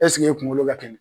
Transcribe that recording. Esike e kungolo ka